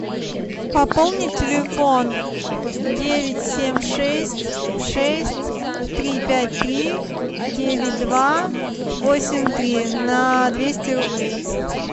пополни телефон девять семь шесть шесть три пять три девять два восемь три на двести рублей